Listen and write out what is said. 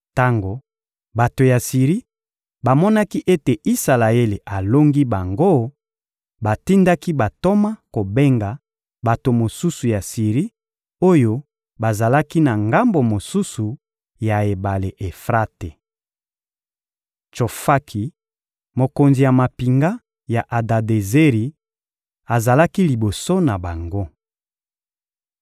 Tango bato ya Siri bamonaki ete Isalaele alongi bango, batindaki bantoma kobenga bato mosusu ya Siri oyo bazalaki na ngambo mosusu ya ebale Efrate. Tsofaki, mokonzi ya mampinga ya Adadezeri, azalaki liboso na bango.